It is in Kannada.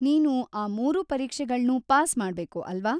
ನೀನು ಆ ಮೂರೂ ಪರೀಕ್ಷೆಗಳ್ನೂ ಪಾಸ್‌ ಮಾಡ್ಬೇಕು ಅಲ್ವಾ?